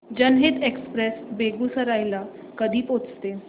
जनहित एक्सप्रेस बेगूसराई ला कधी पोहचते